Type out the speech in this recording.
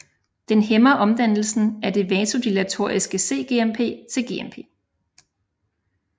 Den hæmmer omdannelsen af det vasodilatoriske cGMP til GMP